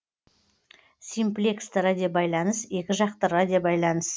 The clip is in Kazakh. симплексті радиобайланыс екі жақты радиобайланыс